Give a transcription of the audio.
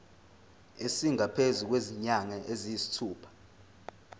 esingaphezu kwezinyanga eziyisithupha